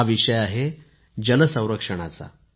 हा विषय आहे जलसंरक्षणाचा